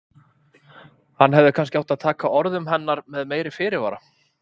Hann hefði kannski átt að taka orðum hennar með meiri fyrirvara.